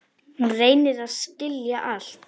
Hún reynir að skilja allt.